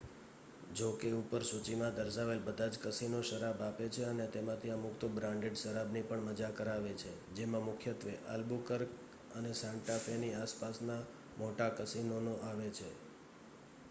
જો કે ઉપર સૂચીમાં દર્શાવેલ બધા જ કસીનો શરાબ આપે છે અને તેમાંથી અમુક તો બ્રાન્ડેડ શરાબની પણ મજા કરાવે છે જેમાં મુખ્યત્વે આલ્બુક્યુર્ક અને સાન્ટા ફેની આસપાસના મોટા કસીનોનો આવે છે